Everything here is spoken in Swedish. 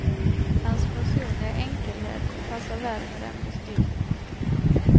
Hans personliga enkelhet passar väl med den beskrivningen.